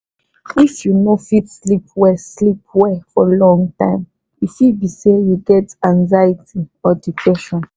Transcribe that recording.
if you no fit sleep well sleep well for long time e fit be say you get anxiety or depression.